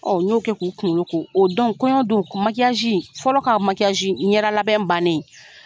Ɔn n y'o kɛ k'u kunkolo ko, o don kɔɲɔ don fɔlɔ ka ɲɛda labɛn bannen